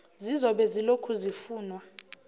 zizobe zilokhu zifunwa